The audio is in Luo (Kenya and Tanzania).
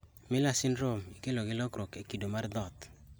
Miller syndrome ikelo gi lokruok e kido mar DHODH